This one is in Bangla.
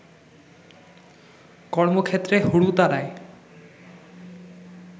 কর্মক্ষেত্রে হুড়োতাড়ায়